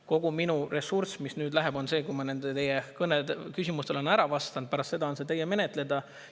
Kogu minu ressurss, mis sellele läheb, on see, kui ma nendele teie küsimustele olen ära vastanud, pärast seda on see teie menetleda.